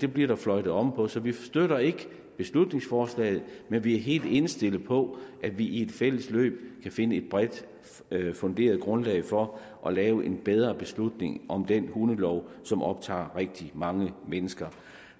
det bliver der fløjtet om på så vi støtter ikke beslutningsforslaget men vi er helt indstillet på at vi i et fælles løb kan finde et bredt funderet grundlag for at lave en bedre beslutning om den hundelov som optager rigtig mange mennesker